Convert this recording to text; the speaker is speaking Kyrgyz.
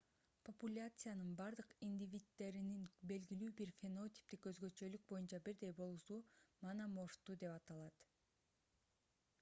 популяциянын бардык индивиддеринин белгилүү бир фенотиптик өзгөчөлүк боюнча бирдей болуусу мономорфтуу деп аталат